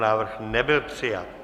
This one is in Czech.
Návrh nebyl přijat.